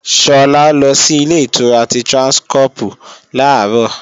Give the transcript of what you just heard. Sọlá lọ sí Ilé-ìtura ti Tráńskọ́pù làárọ̀